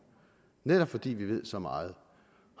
netop fordi vi ved så meget